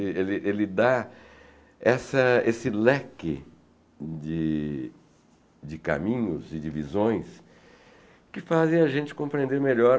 Ele ele dá essa esse leque de de caminhos, de divisões, que fazem a gente compreender melhor